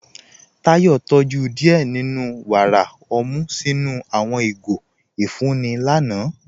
Táyọ̀ tójú díẹ́ nínú wára ọmú sinu àwọn igó ifunni lànà.